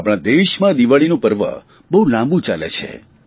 આપણા દેશમાં દિવાળીનું પર્વ બહુ લાંબું ચાલે છે